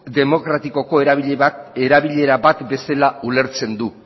demokratikoko erabilera bat bezala ulertzen du